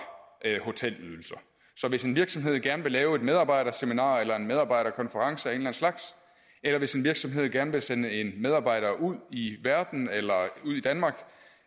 hotelydelser så hvis en virksomhed gerne vil lave et medarbejderseminar eller en medarbejderkonference af en slags eller hvis en virksomhed gerne vil sende en medarbejder ud i verden eller ud i danmark